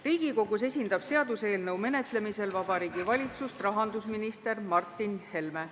Riigikogus esindab seaduseelnõu menetlemisel Vabariigi Valitsust rahandusminister Martin Helme.